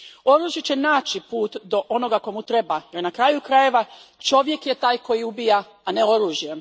Oružje će naći put do onoga komu treba jer, na kraju krajeva, čovjek je taj koji ubija, a ne oružje.